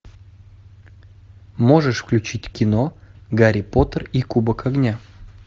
можешь включить кино гарри поттер и кубок огня